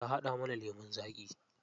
Ta haɗa mana lemun zaƙi.